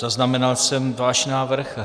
Zaznamenal jsem váš návrh.